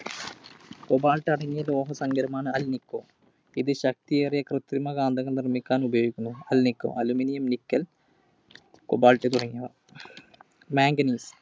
Cobalt അടങ്ങിയ ലോഹസങ്കരമാണ് Alnico. ഇത് ശക്‌തിയേറിയ കൃത്രിമ കാന്തങ്ങൾ നിർമ്മിക്കാൻ ഉപയോഗിക്കുന്നു. alnico. Aluminum, Nickel, Cobalt തുടങ്ങിയവ. Manganese